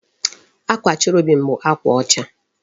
Akwa cherubim bụ akwa ọcha